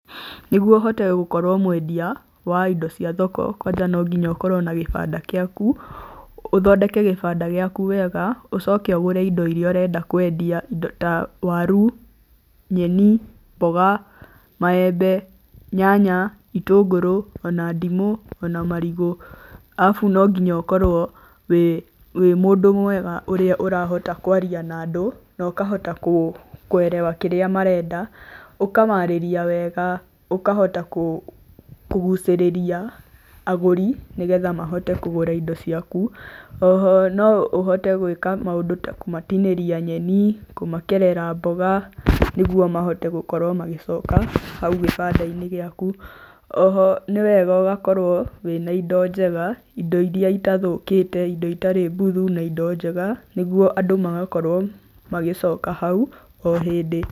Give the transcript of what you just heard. Nĩguo ũhote gũkorwo mwendia wa indo cia thoko kwanja no nginya ũkorwo na gĩbanda gĩaku. Ũthondeke gĩbanda gĩaku wega. Ũcoke ũgũre indo iria ũrenda kwendia. Indo ta waru, nyeni, mboga, maembe, nyanya, itũngũrũ ona ndimũ, ona marigũ. Arabu no nginya ũkorwo wĩ mũndũ mwega ũrĩa ũrahota kwaria na andũ na ũkahota kũerewa kĩrĩa marenda. Ũkamarĩria wega ũkahota kũgucĩrĩria agũri nĩgetha mahote kũgũra indo ciaku, oho ũhote gwĩka maũndũ ta kũmatinĩria nyeni kũmakerera mboga nĩguo makorwo makĩhota gũcoka hau kĩbandainĩ gĩaku. Oho nĩwega ũgakorwo na indo njega, indo iria itathũkĩte na itarĩ mbuthu na indo njega nĩguo andũ magakorwo magĩcoka hau